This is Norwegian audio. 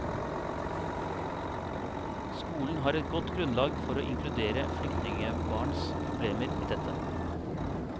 Skolen har et godt grunnlag for å innkludere flyktningebarns problemer i dette.